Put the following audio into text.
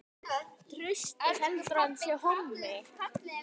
Margar hendur vinna létt verk!